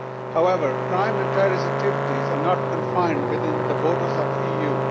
However, crime and terrorist activities are not confined within the borders of the EU.